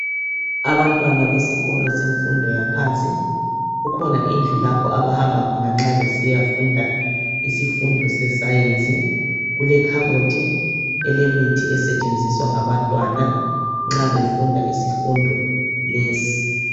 Abantwana besikolo semfundo yaphansi. Kukhona indlu lapho abahamba khona nxa besiyafunda isifundo sescience. Kulekhabothi elemithi esetshenziswa ngabantwana nxa befunda isifundo lesi.